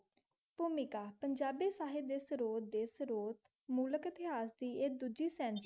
टॉमिकका पंजाबी शहीबाई सरूर दी सरूर मुल्क ऐतिहासि ऐ दोजी सेन.